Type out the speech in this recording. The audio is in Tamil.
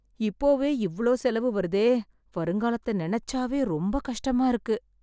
இப்போவே இவ்ளோ செலவு வருதே, வருங்காலத்த நினைச்சாவே ரொம்ப கஷ்டமா இருக்கு